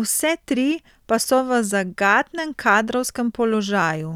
vse tri pa so v zagatnem kadrovskem položaju.